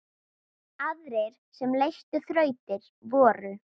Aðrir sem leystu þrautir voru